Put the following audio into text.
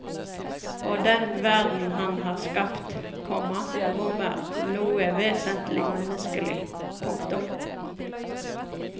Og den verden han har skapt, komma rommer noe vesentlig menneskelig. punktum